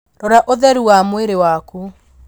Rora ũtheru wa mwĩrĩ waku